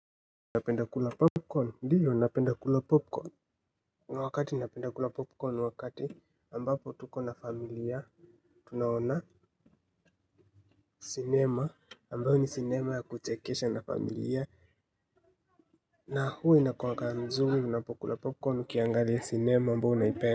Unapenda kula popcorn, ndio napenda kula popcorn kuna wakati napenda kula popcorn wakati ambapo tuko na familia. Tunaona cinema, ambayo ni cinema ya kuchekesha na familia na huwa inakuanga nzuri unapokula popcorn ukiangalia cinema ambayo unaipenda.